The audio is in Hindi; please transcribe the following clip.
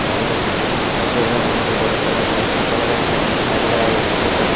गाड़ी का चित्र भी दिखाई दे रहा है यहाँ पे ब्लैक कलर का शीशा लगा गेट भी दिखाई दे रहा है --